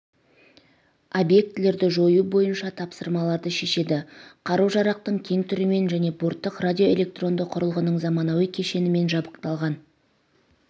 объектілерді жою бойынша тапсырмаларды шешеді қару-жарақтың кең түрімен және борттық радиоэлектронды құрылғының заманауи кешенімен жабдықталған